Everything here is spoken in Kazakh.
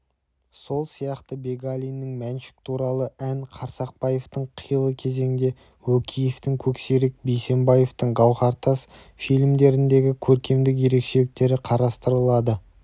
сол сияқты бегалиннің мәншүк туралы ән қарсақбаевтың қилы кезеңде өкеевтің көксерек бейсембаевтың гауһартас фильмдерінің көркемдік ерекшеліктері қарастырылды